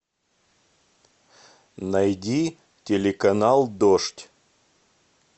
найди телеканал дождь